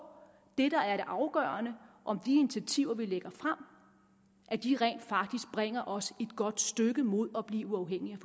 det der er det afgørende om de initiativer vi lægger frem rent faktisk bringer os et godt stykke mod at blive uafhængige